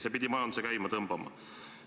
See pidi majanduse käima tõmbama.